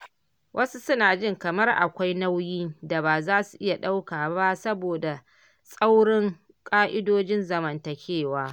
Wasu suna ji kamar akwai nauyin da ba za su iya ɗauka ba saboda tsaurãran ƙa’idodin zamantakewa.